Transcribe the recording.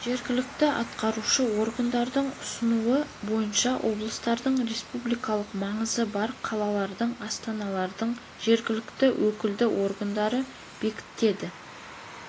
жергілікті атқарушы органдардың ұсынуы бойынша облыстардың республикалық маңызы бар қалалардың астаналардың жергілікті өкілді органдары бекітеді